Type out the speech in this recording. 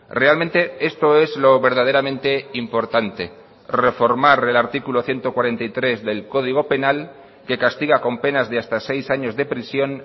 realmente esto es lo verdaderamente importante reformar el artículo ciento cuarenta y tres del código penal que castiga con penas de hasta seis años de prisión